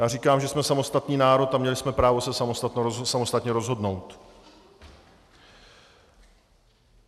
Já říkám, že jsme samostatný národ a měli jsme právo se samostatně rozhodnout.